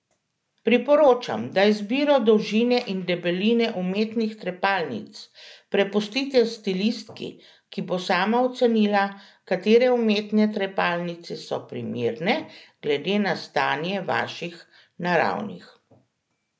Priporočam, da izbiro dolžine in debeline umetnih trepalnic prepustite stilistki, ki bo sama ocenila, katere umetne trepalnice so primerne, glede na stanje vaših naravnih.